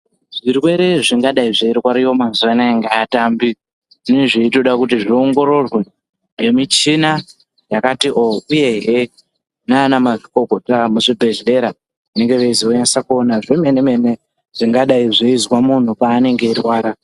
Zvirwere zvingadai zveirwariwa mazuwa anaya ngeatambi, zvinezveitoda kuti zviongororwe nemichina yakati oh, uyehe nanamazvikokota vemuzvibhehleya vanevei zonasokuona zvemene mene zvinozwa muntu paanege eirwara.